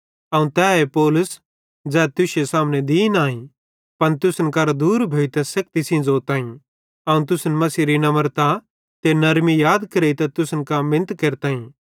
अवं तैए पौलुस ज़ै तुश्शे सामने दीन आई पन तुसन करां दूर भोताईं सेखती सेइं ज़ोताईं अवं तुसन मसीहेरी नम्रता ते नरमी याद करेइतां तुसन कां मिनत केरताईं